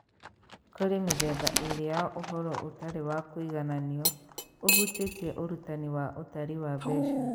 Kũrĩ mĩthemba ĩĩrĩ ya ũhoro ũtarĩ wa kũigananio ũhutĩtie ũrutani wa ũtari wa mbeca: